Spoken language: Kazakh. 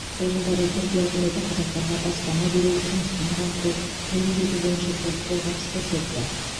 сол жылдары түркия үкіметі қазақтарға баспана беру жұмыспен қамту тіл үйрету бойынша көп қолғабыс көрсетті